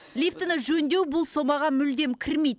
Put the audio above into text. лифтіні жөндеу бұл сомаға мүлдем кірмейді